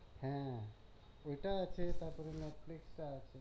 হ্যাঁ ওইটা আছে তারপর নেটফ্লিক্সে আছে